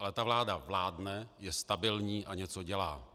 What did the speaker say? Ale ta vláda vládne, je stabilní a něco dělá.